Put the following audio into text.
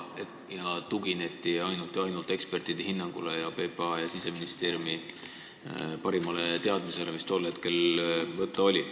Tugineti ainult ja ainult ekspertide hinnangule ning PPA ja Siseministeeriumi parimale teadmisele, mis tol hetkel võtta oli.